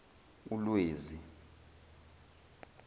ulwezi